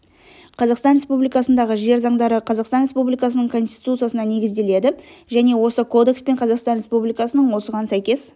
қазақстан республикасындағы жер заңдары қазақстан республикасының конституциясына негізделеді және осы кодекс пен қазақстан республикасының осыған сәйкес